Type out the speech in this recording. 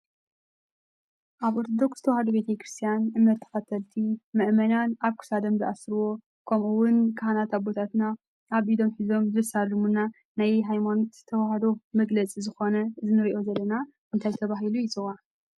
ኣብ ኦርቶዶክስ ተዋህዶ ቤተ ክርስትያን እምነት ተከተልቲ ምእመናን ኣብ ክሳዶም ዝኣስርዎ ከምኡ እውን ካህናት ኣቦታትና ኣብ ኢዶም ሒዞም ዘሳልሙና ናይ ሃይማኖት ተዋህዶ መግለፂ ዝኮነ እዚ እንሪኦ ዘለና እንታይ ተባሂሉ ይፅዋዕ ?